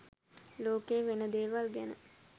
ලෝකේ වෙන දේවල් ගැන